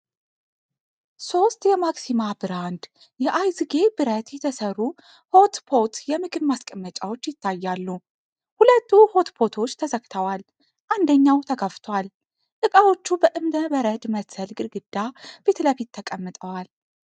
ሦስት የማክሲማ ብራንድ አይዝጌ ብረት የተሰሩ ሆትፖት የምግብ ማስቀመጫዎች ይታያሉ። ሁለቱ ሆትፖቶች ተዘግተዋል፤ አንደኛው ተከፍቷል። እቃዎቹ በእብነ በረድ መሰል ግድግዳ ፊት ለፊት ተቀምጠዋል።